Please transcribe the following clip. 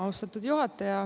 Austatud juhataja!